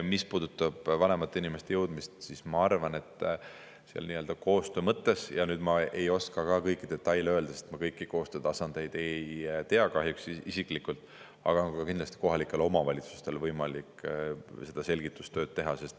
Mis puudutab vanemate inimesteni jõudmist, siis ma arvan, et koostöö mõttes – ma ei oska kõiki detaile öelda, sest ma kõiki koostöötasandeid ei tea kahjuks isiklikult – on kindlasti ka kohalikel omavalitsustel võimalik seda selgitustööd teha.